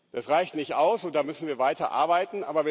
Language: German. Das reicht nicht aus, und da müssen wir weiter arbeiten.